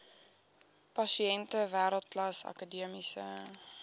pasiënte wêreldklas akademiese